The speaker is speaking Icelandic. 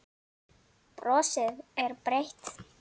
Brosir breitt.